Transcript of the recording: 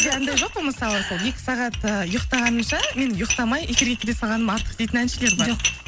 сізде анандай жоқ па мысалы сол екі сағат і ұйықтағанымша мен ұйықтамай эфирге келе салғаным артық дейтін әншілер бар жоқ